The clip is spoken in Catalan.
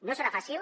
no serà fàcil